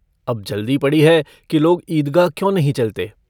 अब जल्दी पड़ी है कि लोग ईदगाह क्यों नहीं चलते।